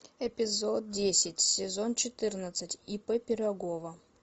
эпизод десять сезон четырнадцать ип пирогова